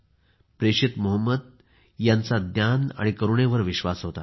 प्रेषित मोहम्मद यांचा ज्ञान आणि करुणेवर विश्वास होता